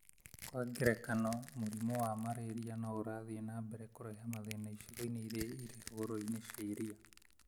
Kwa ngerekano, mũrimũ wa malaria no ũrathiĩ na mbere kũrehe mathĩna icigo-inĩ iria irĩ hũgũrũrũ-inĩ cia iria